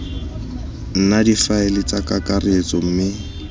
nna difaele tsa kakaretso mme